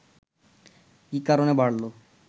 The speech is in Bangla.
কি কারণে বাড়ল